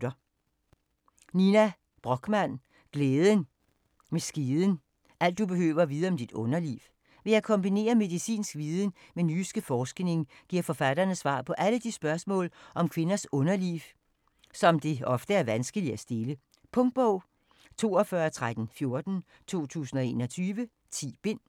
Brochmann, Nina: Glæden med skeden: alt du behøver at vide om dit underliv Ved at kombinere medicinsk viden med den nyeste forskning, giver forfatterne svar på alle de spørgsmål om kvindens underliv, som det ofte er vanskeligt at stille. Punktbog 421314 2021. 10 bind.